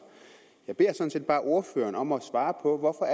jeg beder sådan set bare ordføreren om at svare på hvorfor